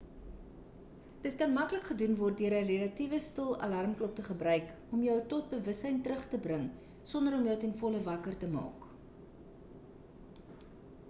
dit kan maklik gedoen word deur 'n relatiewe stil alarmklok te gebruik om jou tot bewussein terug te bring sonder om jou ten volle wakker te maak